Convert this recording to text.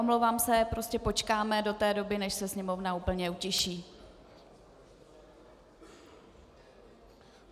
Omlouvám se, prostě počkáme do té doby, než se sněmovna úplně utiší.